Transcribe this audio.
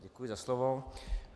Děkuji za slovo.